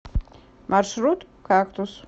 маршрут кактус